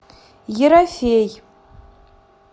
ерофей